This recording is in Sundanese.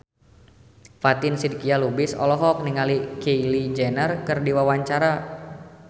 Fatin Shidqia Lubis olohok ningali Kylie Jenner keur diwawancara